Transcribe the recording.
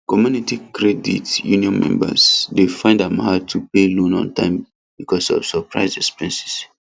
community credit union members dey find am hard to pay loan on time because of surprise expenses